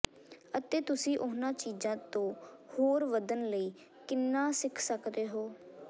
ਅਤੇ ਤੁਸੀਂ ਉਨ੍ਹਾਂ ਚੀਜ਼ਾਂ ਤੋਂ ਹੋਰ ਵਧਣ ਲਈ ਕਿੰਨਾ ਸਿੱਖ ਸਕਦੇ ਹੋ